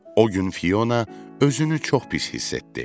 O gün Fiona özünü çox pis hiss etdi.